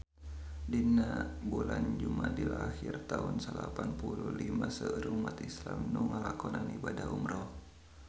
Dina bulan Jumadil ahir taun salapan puluh lima seueur umat islam nu ngalakonan ibadah umrah